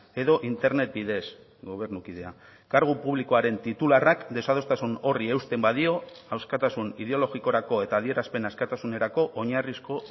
edo internet bidez gobernukidea kargu publikoaren titularrak desadostasun horri eusten badio askatasun ideologikorako eta adierazpen askatasunerako oinarrizko